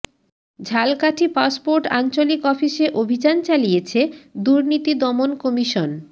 Jhalakathi passport আঞ্চলিক অফিসে অভিযান চালিয়েছে দুর্নীতি দমন কমিশন